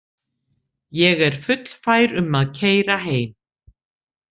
Ég er fullfær um að keyra heim.